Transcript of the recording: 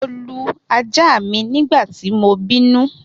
Mo lu aja mi nigbati mo binu